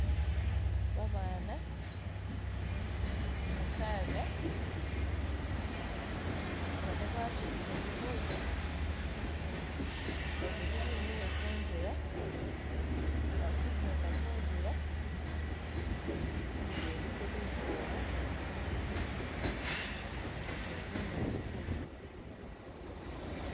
Babana mukaga bana basudile bibuutu babili bemile kunzila bali kujenda kunzila inzu iliko bisaala ne bunyaasi kundulo